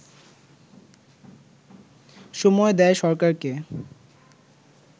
সময় দেয় সরকারকে